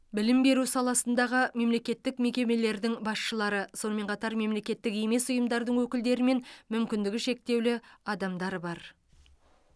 білім беру саласындағы мемлекеттік мекемелердің басшылары сонымен қатар мемлекеттік емес ұйымдардың өкілдері мен мүмкіндігі шектеулі адамдар бар